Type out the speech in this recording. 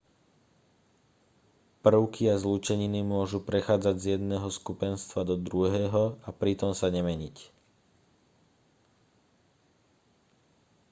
prvky a zlúčeniny môžu prechádzať z jedného skupenstva do druhého a pritom sa nemeniť